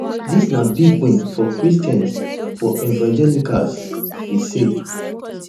dis na big win for christians for evangelicals e say